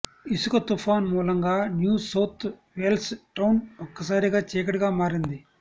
ఇసుక తుపాన్ మూలంగా న్యూ సౌత్ వేల్స్ టౌన్ ఒక్కసారిగా చీకటిగా మారింది